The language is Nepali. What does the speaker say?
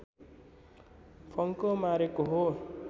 फड्को मारेको हो